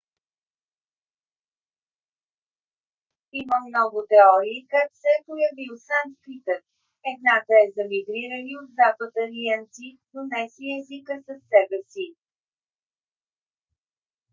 има много теории как се е появил санскритът. едната е за мигрирали от запад арианци донесли езика със себе си